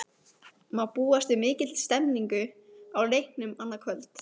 Má búast við mikilli stemningu á leiknum annað kvöld?